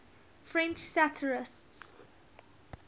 french satirists